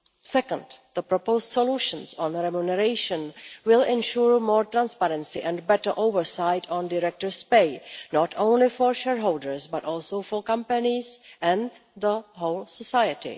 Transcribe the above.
Second, the proposed solutions on remuneration will ensure more transparency and better oversight of directors' pay, not only for shareholders, but also for companies and the whole society.